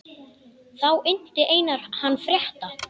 Þá innti Einar hann frétta.